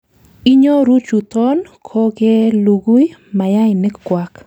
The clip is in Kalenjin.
inyoru chuton kokelugui mayainik kwak